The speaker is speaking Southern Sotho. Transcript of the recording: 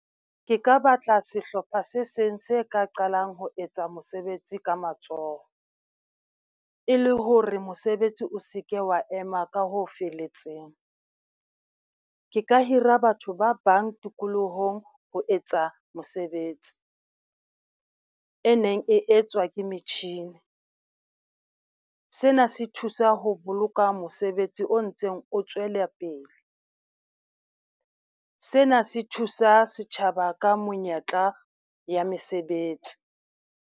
Ke ka batla sehlopha se seng se ka qalang ho etsa mosebetsi ka matsoho. R le hore mosebetsi o se ke wa ema ka ho felletseng, ke ka hira batho ba bang tikolohong ho etsa mosebetsi e neng e etswa ke metjhini. Sena se thusa ho boloka mosebetsi o ntseng o tswela pele, sena se thusa setjhaba ka monyetla ya mesebetsi.